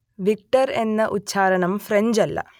Victor എന്ന ഉച്ചാരണം French അല്ല